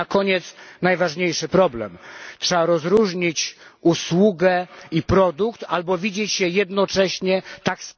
I na koniec najważniejszy problem trzeba rozróżnić usługę i produkt, albo widzieć je jednocześnie, tak...